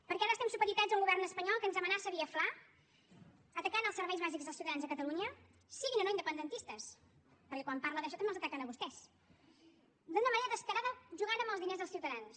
perquè ara estem supeditats a un govern espanyol que ens amenaça via fla ataca els serveis bàsics dels ciutadans de catalunya siguin o no independentistes perquè quan parla d’això també els ataquen a vostès i d’una manera descarada juga amb els diners dels ciutadans